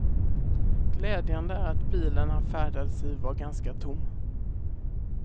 Glädjande är att bilen han färdades i var ganska tom.